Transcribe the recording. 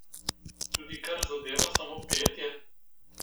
Tudi kar zadeva samo petje?